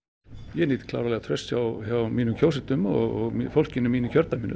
ég nýt klárlega trausts hjá mínum kjósendum og fólkinu í mínu kjördæmi